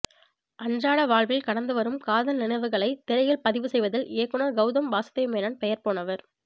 அன்றாட வாழ்வில் கடந்து வரும் காதல் நினைவுகளை திரையில் பதிவு செய்வதில் இயக்குநர் கெளதம் வாசுதேவ் மேனன் பெயர்போனவர்